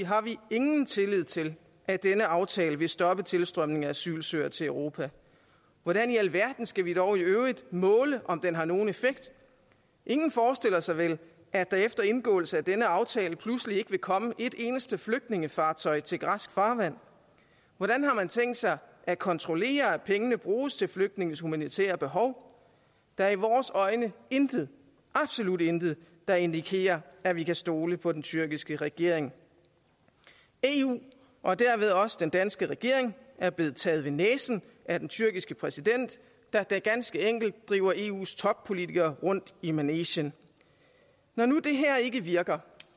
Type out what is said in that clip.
har vi ingen tillid til at denne aftale vil stoppe tilstrømningen af asylansøgere til europa hvordan i alverden skal vi dog i øvrigt måle om den har nogen effekt ingen forestiller sig vel at der efter indgåelse af denne aftale pludselig ikke vil komme et eneste flygtningefartøj til græsk farvand hvordan har man tænkt sig at kontrollere at pengene bruges til flygtningenes humanitære behov der er i vores øjne intet absolut intet der indikerer at vi kan stole på den tyrkiske regering eu og derved også den danske regering er blevet taget ved næsen af den tyrkiske præsident der ganske enkelt driver eus toppolitikere rundt i manegen når nu det her ikke virker